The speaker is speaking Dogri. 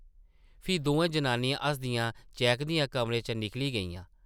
फ्ही दोऐ जनियां हसदियां-चैह्कदियां कमरे चा निकली गेइयां ।